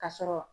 Ka sɔrɔ